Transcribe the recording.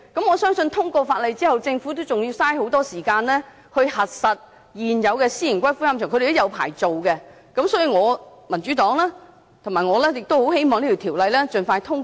我相信，通過《條例草案》後，政府仍要花很多時間處理現有私營龕場的領牌事宜，所以民主黨和我很希望這項《條例草案》能盡快獲得通過。